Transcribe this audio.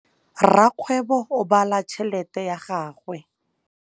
Rakgwêbô o bala tšheletê ya gagwe.